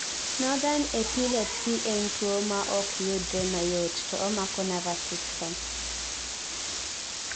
nothern epilepsy en tuwo maokyudre mayot to omako nervous system